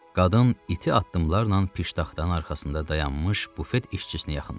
Qadın iti addımlarla piştaxtanın arxasında dayanmış bufet işçisinə yaxınlaşdı.